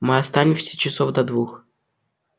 мы останемся часов до двух